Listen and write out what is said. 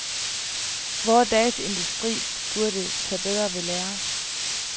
Vore dages industri burde tage ved lære.